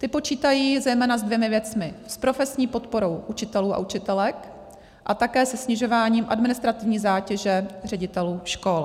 Ty počítají zejména s dvěma věcmi - s profesní podporou učitelů a učitelek a také se snižováním administrativní zátěže ředitelů škol.